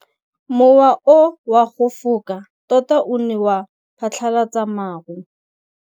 Mowa o wa go foka tota o ne wa phatlalatsa maru.